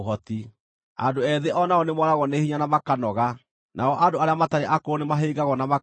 Andũ ethĩ o nao nĩmooragwo nĩ hinya na makanoga, nao andũ arĩa matarĩ akũrũ nĩmahĩngagwo na makagũa;